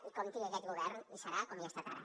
i compti que aquest govern hi serà com hi ha estat ara